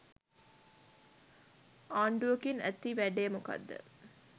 ආණ්ඩුවකින් ඇති වැඩේ මොකක්ද?